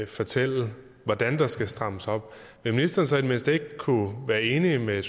fortælle hvordan der skal strammes op vil ministeren så i det mindste ikke kunne være enig med